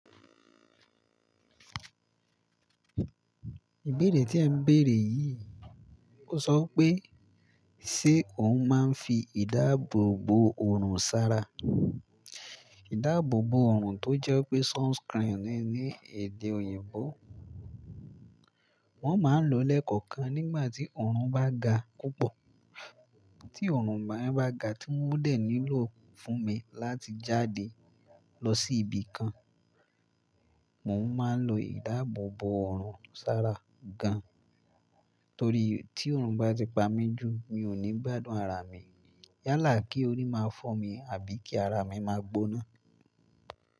Ìbéèrè tí ẹ ń béèrè yìí, ó sọ pé ṣe òun máa ń fi ìdáàbòbò ọrùn sára? Ìdáàbòbò ọrùn tó jẹ́ pé sunscreen ní èdè òyìnbó. Wọ́n máa ń lo lẹ́kọ̀ọ̀kan nígbà tí ọrùn bá ga púpọ̀. Tí ọrùn bá, bá ga tí mo dé nílò fún mi láti jáde lọ sí ibi kan, mo máa ń lo ìdáàbòbò ọrùn sára gan. Torí tí ọrùn bá ti pa mí jù, mi ò ní gbádùn ara mi. Yálà kí orí máa fọ́ mi àbí kí ara mi máa gbóná.